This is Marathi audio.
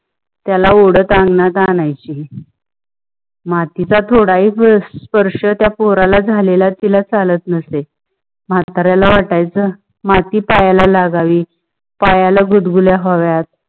त्याला ओडंत आंगणात आण्याची. मातीच्या थोडा हि पान स्पर्श झालेला त्या पोरला झालेला तिला चालत नसेल. मताऱ्याला वट्याच माती पायल लागावी, पायल गुद गुलया व्हाव्या